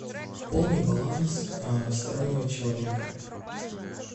пополни баланс стороннего человека